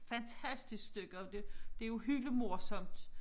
Fantastisk stykke og det det jo hylemorsomt